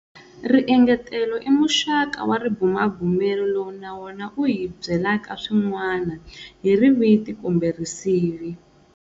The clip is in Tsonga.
Riengetelo i muxaka wa ribumabumeri lowu na wona wu hi byelaka swin'wana hi riviti kumbe risivi.